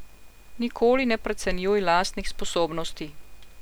Nikoli ne precenjuj lastnih sposobnosti.